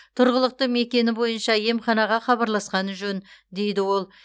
тұрғылықты мекені бойынша емханаға хабарласқаны жөн дейді ол